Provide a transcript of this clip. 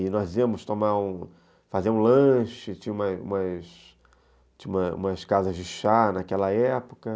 E nós íamos tomar um, fazer um lanche, tinha umas umas tinha umas casas de chá naquela época.